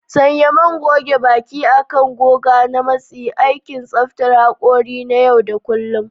Sanya man goge baki akan goga ta matsi: aikin tsaftar haƙori na yau da kullun.